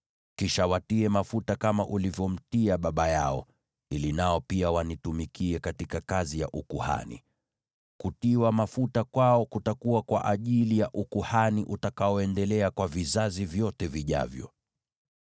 Kisha watie mafuta kama ulivyomtia baba yao, ili nao pia wanitumikie katika kazi ya ukuhani. Kutiwa mafuta kwao kutakuwa kwa ajili ya ukuhani utakaoendelea kwa vizazi vyote vijavyo.”